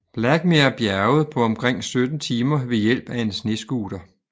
Blackmer bjerget på omkring sytten timer ved hjælp af en snescooter